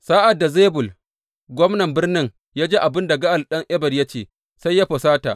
Sa’ad da Zebul gwamnar birnin ya ji abin da Ga’al ɗan Ebed ya ce, sai ya fusata.